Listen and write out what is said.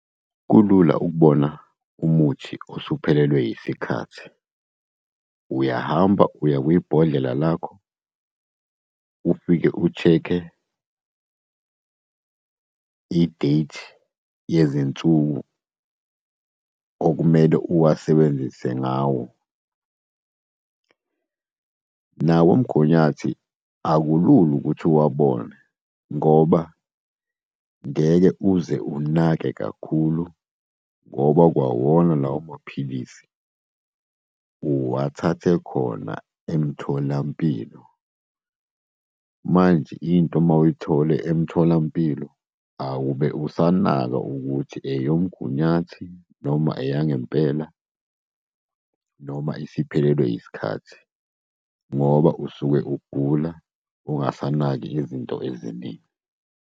Kulula ukubona umuthi osuphelelwe yisikhathi, uyahamba uye kwibhodlela lakho, ufike ushekhe i-date yezinsuku okumele uwasebenzise ngawo. Nawomgunyathi akulula ukuthi uwabone, ngoba ngeke uze unake kakhulu, ngoba kwawona lawo maphilisi uwathathe khona emtholampilo. Manje into uma uyithole emtholampilo, awube usanaka ukuthi eyomgunyathi, noma eyangempela, noma isiphelelwe isikhathi, ngoba usuke ugula, ungasanaki izinto eziningi.